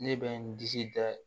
Ne bɛ n disi da